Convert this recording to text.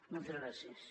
moltes gràcies